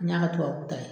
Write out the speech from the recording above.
N y'a ka tubabu ta ye